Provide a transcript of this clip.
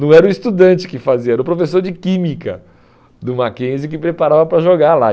Não era o estudante que fazia, era o professor de química do Mackenzie que preparava para jogar lá.